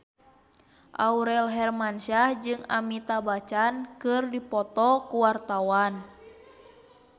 Aurel Hermansyah jeung Amitabh Bachchan keur dipoto ku wartawan